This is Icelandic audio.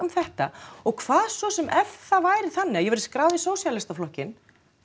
þetta og hvað svo sem ef það væri þannig að ég væri skráð í sósíalistaflokkinn